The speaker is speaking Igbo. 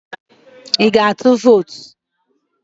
I ga-atụ vot?